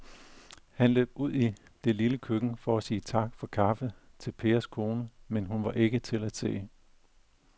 Han løb ud i det lille køkken for at sige tak for kaffe til Pers kone, men hun var ikke til at se.